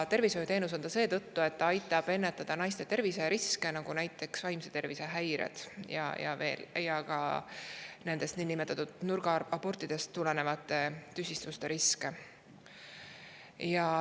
Tervishoiuteenus on ta seetõttu, et aitab ennetada naiste terviseriske, nagu näiteks vaimse tervise häired, samuti niinimetatud nurgaabortidega kaasnevate tüsistuste riski.